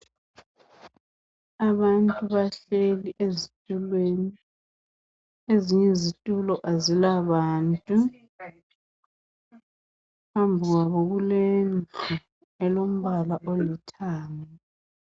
Abantu bahleli ezitulweni , ezinye izitulo azilabantu ,phambi kwabo kulo mduli olombala olithanga.